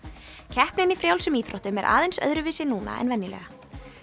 keppnin í frjálsum íþróttum er aðeins öðruvísi núna en venjulega